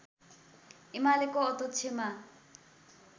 एमालेको अध्यक्षमा